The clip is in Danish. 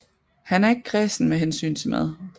Han er ikke kræsen med hensyn til mad